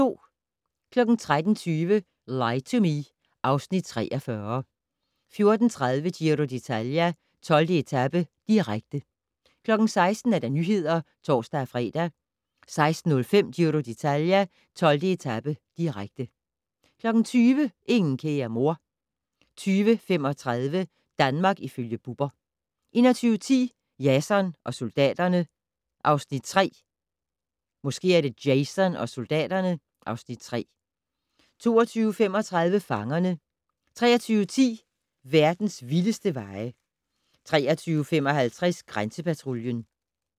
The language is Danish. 13:20: Lie to Me (Afs. 43) 14:30: Giro d'Italia: 12. etape, direkte 16:00: Nyhederne (tor-fre) 16:05: Giro d'Italia: 12. etape, direkte 20:00: Ingen kære mor 20:35: Danmark ifølge Bubber 21:10: Jason og soldaterne (Afs. 3) 22:35: Fangerne 23:10: Verdens vildeste veje 23:55: Grænsepatruljen